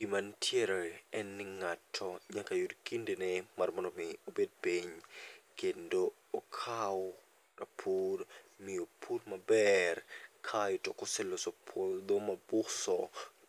Gimantiere en ni ng'ato nyaka yud kinde ne mar mondo mi obed piny, kendo okaw rapur mi opur maber. Kaeto koseloso puodho mobuso